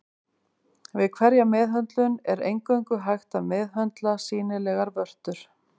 Við hverja meðhöndlun er eingöngu hægt að meðhöndla sýnilegar vörtur.